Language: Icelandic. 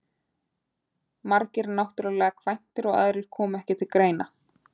Margir náttúrlega kvæntir og aðrir komu ekki til greina.